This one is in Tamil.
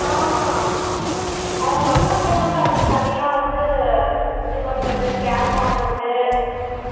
ஆஹ் அவங்க நல்லா care பண்டு அதுக்கு தனியா வந்து இது பண்றது cap வாங்குறது